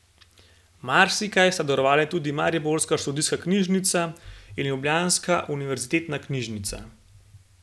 Marsikaj sta darovali tudi mariborska študijska knjižnica in ljubljanska Univerzitetna knjižnica.